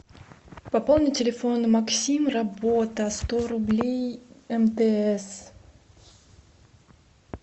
пополнить телефон максим работа сто рублей мтс